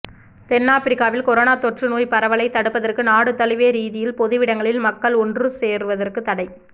தென்னாபிரிக்காவில் corona தொற்று நோய் பரவலைத் தடுப்பதற்கு நாடு தழுவிய ரீதியில் பொதுவிடங்களில் மக்கள் ஒன்று சேர்வதற்கு தடை